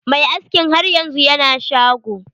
Mai askin har yanzu yana shago.